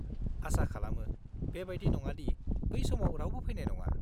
आसा खालामो, बेबायदि नङादि बै समाव रावबो फैनाय नङा।